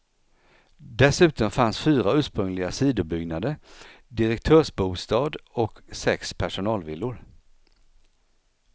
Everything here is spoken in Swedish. Dessutom fanns fyra ursprungliga sidobyggnader, direktörsbostad och sex personalvillor.